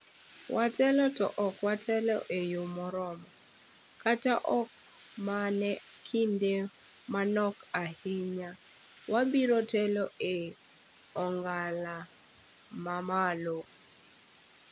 "Watelo to ok watelo e yoo moromo, kata ok mano kinde manok ahinya wabiro telo e ong'ala mamalo".